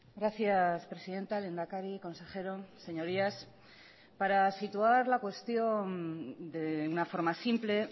gracias presidenta lehendakari consejero señorías para situar la cuestión de una forma simple